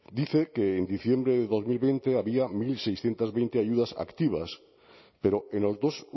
dice que en diciembre de dos mil veinte había mil seiscientos veinte ayudas activas pero en los dos